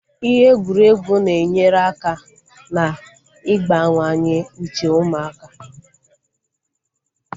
Ihe egwuregwu na-enyere aka na igbawanye uche ụmụaka